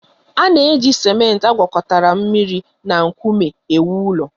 A na-eji simenti agwakọta mmiri na nkume ewu ụlọ